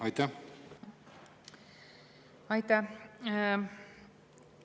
Aitäh!